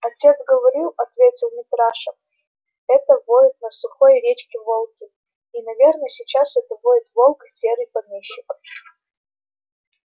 отец говорил ответил митраша это воют на сухой речке волки и наверно сейчас это воет волк серый помещик